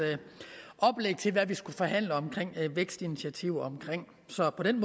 oplæg til hvad vi skulle forhandle om vækstinitiativer så på den